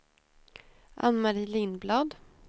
Ann-Mari Lindblad